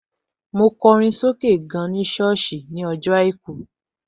Mo kọrin sókè gan ní sọ́ọ̀sì ní ọjọ́ àìkú